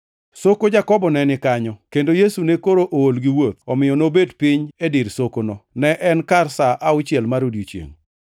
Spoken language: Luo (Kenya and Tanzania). Soko Jakobo ne ni kanyo, kendo Yesu ne koro ool gi wuoth, omiyo nobet piny e dir sokono. Ne en kar sa auchiel mar odiechiengʼ.